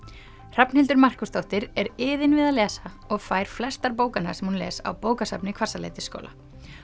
Hrafnhildur Markúsdóttir er iðin við að lesa og fær flestar bókanna sem hún les á bókasafni Hvassaleitisskóla